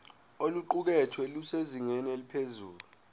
oluqukethwe lusezingeni eliphezulu